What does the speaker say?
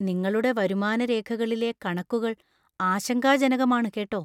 നിങ്ങളുടെ വരുമാന രേഖകളിലെ കണക്കുകള്‍ ആശങ്കാജനകമാണ് കേട്ടോ.